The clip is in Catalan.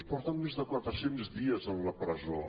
porten més de quatre cents dies a la presó